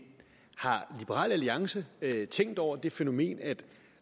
har liberal alliance tænkt over det fænomen at der